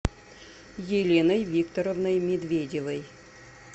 еленой викторовной медведевой